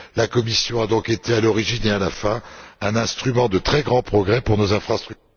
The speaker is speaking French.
La Commission a donc été, à l'origine et à la fin, un instrument de très grand progrès pour nos infrastructures.